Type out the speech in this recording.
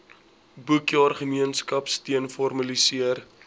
boekjaar gemeenskapsteun formaliseer